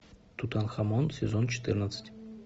тутанхамон сезон четырнадцать